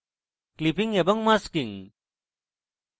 clipping এবং masking